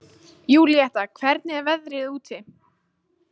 Júlíetta, hvernig er veðrið úti?